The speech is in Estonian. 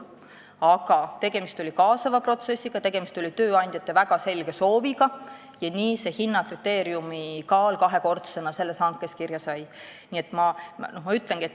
Aga tegemist oli kaasava protsessiga, tööandjate väga selge sooviga ja nii see hinnakriteeriumi kaal sellesse hankesse kahekordsena kirja sai.